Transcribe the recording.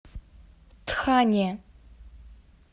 тхане